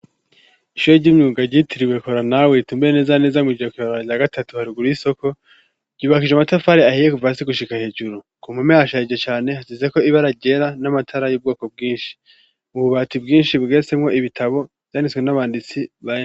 Ishoyo ry'imyuga ryitiriwe kora nawe ritumbue neza neza mw'ijra kibabara rya gatatu haruguru isoko ryubakije amatafari ahiye kuva si gushika hejuru ku mpume hashayije cane hasizeko ibe arajera n'amatara y'ubwoko bwinshi mu bubati bwinshi bwiyasemwo ibitabo vyanditswe n'abanditsi baea.